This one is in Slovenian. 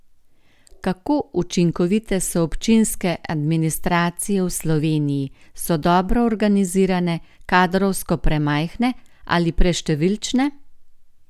Kako učinkovite so občinske administracije v Sloveniji, so dobro organizirane, kadrovsko premajhne ali preštevilčne?